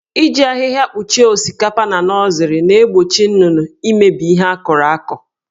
Iji ahịhịa kpuchie osikapa na nọzịrị na-egbochi nnụnụ imebi ihe akọrọ akọ.